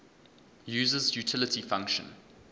user's utility function